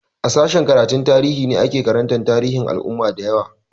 A sashen karatun tarihi ne ake karanta tarihin al'ummu da yawa